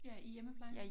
Ja i hjemmeplejen